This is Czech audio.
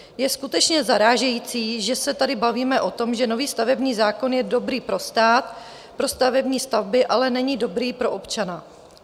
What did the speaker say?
Je skutečně zarážející, že se tady bavíme o tom, že nový stavební zákon je dobrý pro stát, pro stavební stavby, ale není dobrý pro občana.